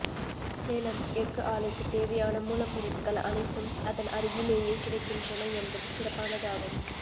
சேலம் எஃகு ஆலைக்கு தேவையான மூலப் பொருட்கள் அனைத்தும் அதன் அருகிலேயே கிடைக்கின்றன என்பது சிறப்பானதாகும்